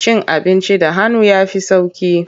Cin abinci da hannu ya fi sauƙi.